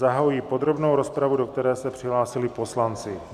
Zahajuji podrobnou rozpravu, do které se přihlásili poslanci...